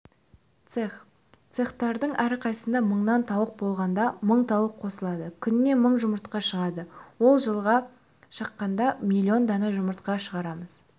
цех цехтардың әрқайсысында мыңнан тауық болғанда мың тауық қосылады күніне мың жұмыртқа шығады ол жылға шаққанда миллион дана жұмыртқа шығарамыз